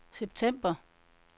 september